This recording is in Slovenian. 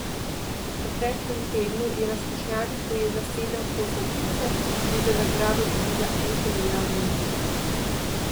V preteklem tednu je na skušnjavi pojedla sedem kosov pice in za nagrado dobila en kilogram minusa.